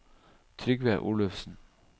Trygve Olufsen